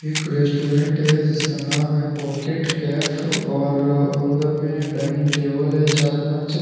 एक रेस्टोरेंट है जिसका नाम है पॉकेट कैफ और अंदर में डाइनिंग टेबल है चार पांच।